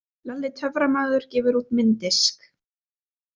Lalli töframaður gefur út mynddisk